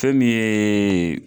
Fɛ nin yee e